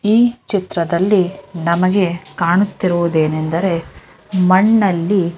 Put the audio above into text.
ಈ ಚಿತ್ರದಲ್ಲಿ ನಮಗೆ ಕಾಣುತ್ತಿರುವುದೇನೆಂದೆರೆ ಮಣ್ಣಲ್ಲಿ --